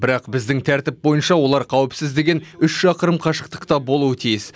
бірақ біздің тәртіп бойынша олар қауіпсіз деген үш шақырым қашықтықта болуы тиіс